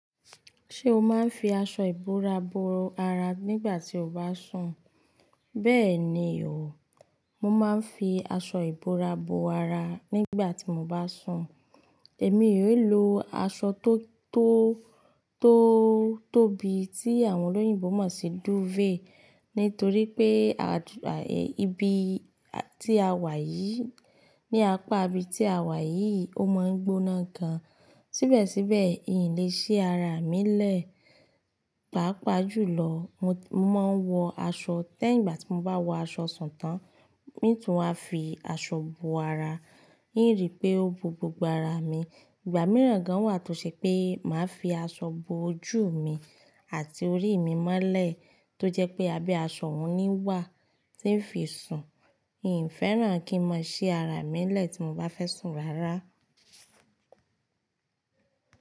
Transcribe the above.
Ṣé o máa ń fi aṣọ ìbora bo ara nígbà tí o bá sùn? Bẹ́ẹ̀ni o, mo máa ń fi aṣọ ìbora bo ara nígbà tí mo bá sùn. Èmi è lo aṣọ tó tó tó tóbi tí àwọn olóyìnbo mọ̀ sí duvet nítorí pé ibi tí a wà yìí, ní apá ibi tí a wà yìí, ó máa ń gbóná gan. Síbẹ̀síbẹ̀, i n le ṣe ara mi lẹ́, pàápàá jùlọ, mo máa ń wọ aṣọ tẹ́ ìgbà tí mo bá wọ aṣọ sùn tán, mi tún máa fi aṣọ bo ara, ìrì pé ó bo gbogbo ara mi. Ìgbà mìíràn gan wà tó ṣe pé màá fi aṣọ bo ojú mi àti orí mi mọ́lẹ̀ tó jẹ́ pé a bí aṣọ mi ní wà tí ń fi sùn. N ò fẹ́ràn kí n máa ṣi ara mi lẹ́ tí mo bá fẹ́ sùn rárá.